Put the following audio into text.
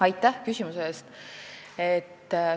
Aitäh küsimuse eest!